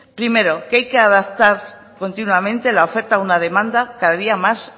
primero que hay que adaptar continuamente la oferta a una demanda cada día más